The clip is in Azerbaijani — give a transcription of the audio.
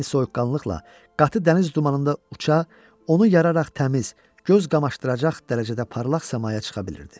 Eyni soyuqqanlıqla qatı dəniz dumanında uça, onu yararaq təmiz, göz qamaşdıracaq dərəcədə parlaq səmaya çıxa bilirdi.